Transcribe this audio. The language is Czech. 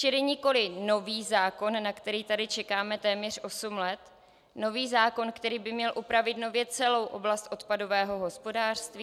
Čili nikoliv nový zákon, na který tady čekáme téměř osm let, nový zákon, který by měl upravit nově celou oblast odpadového hospodářství.